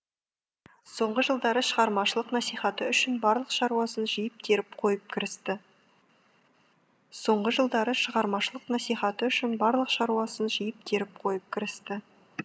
соңғы жылдары шығармашылық насихаты үшін барлық шаруасын жиып теріп қойып кірісті соңғы жылдары шығармашылық насихаты үшін барлық шаруасын жиып теріп қойып кірісті